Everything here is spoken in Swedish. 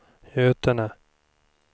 Götene